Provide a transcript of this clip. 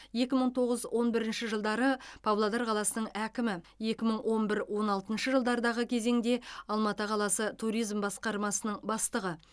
екі мың тоғыз он бірінші жылдары павлодар қаласының әкімі екі мың он бір он алтыншы жылдардағы кезеңде алматы қаласы туризм басқармасының бастығы